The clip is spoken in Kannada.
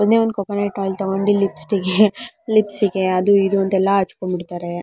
ಒಂದೇ ಒಂದು ಕೋಕೋನೆಟ್ ಆಯಿಲ್ ತಗೊಂಡಿ ಲಿಪ್ಸ್ಗೆ ಲಿಪ್ಸ್ಗೆ ಅದು ಇದು ಅಂತ ಎಲ್ಲಾ ಅಚ್ಚಕೊಂಡು ಬಿಡ್ತಾರೆ.